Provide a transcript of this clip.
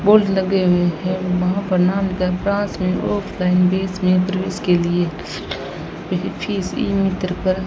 poles लगे हुए हैं वहां पर प्रवेश के लिए फीस ई मित्र पर --